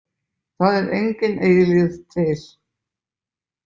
Það er engin eilífð til.